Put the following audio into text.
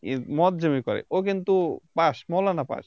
এ মতজমি পায় ও কিন্তু Pass মৌলানা Pass